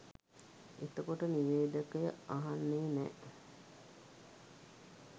එතකොට නිවේදකය අහන්නෙ නෑ